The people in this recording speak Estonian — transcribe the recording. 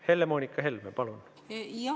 Helle-Moonika Helme, palun!